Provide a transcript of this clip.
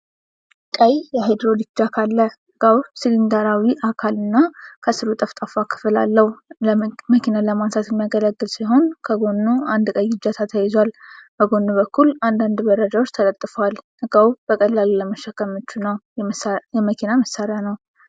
ቀይ የሃይድሮሊክ ጃክ አለ። እቃው ሲሊንደራዊ አካል እና ከስሩ ጠፍጣፋ ክፍል አለው። መኪና ለማንሳት የሚያገለግል ሲሆን፣ ከጎኑ አንድ ቀይ እጀታ ተያይዟል። በጎን በኩል አንዳንድ መረጃዎች ተለጥፈዋል። እቃው በቀላሉ ለመሸከም ምቹ ነው። የመኪና መሳሪያ ነው።